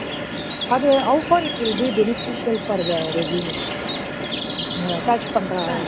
அது how far it will be beneficial for the resume? அந்த attach பண்ற,